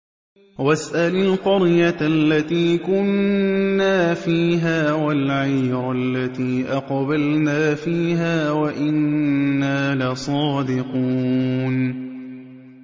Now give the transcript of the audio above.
وَاسْأَلِ الْقَرْيَةَ الَّتِي كُنَّا فِيهَا وَالْعِيرَ الَّتِي أَقْبَلْنَا فِيهَا ۖ وَإِنَّا لَصَادِقُونَ